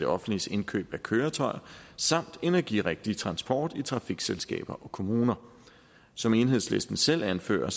offentliges indkøb af køretøjer samt energirigtig transport i trafikselskaber og kommuner som enhedslisten selv anfører